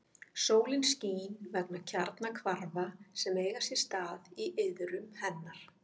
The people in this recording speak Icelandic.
Sólin skín vegna kjarnahvarfa sem eiga sér stað í iðrum hennar.